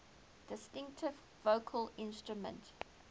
distinctive vocal instrument